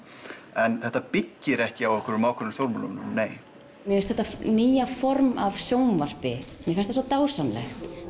en þetta byggir ekki á ákveðnum á ákveðnum stjórnmálamönnum nei mér finnst þetta nýja form af sjónvarpi svo dásamlegt